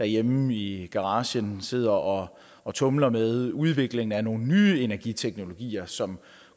hjemme i garagen sidder og og tumler med udviklingen af nogle nye energiteknologier som